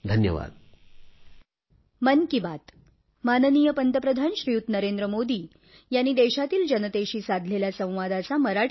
धन्यवाद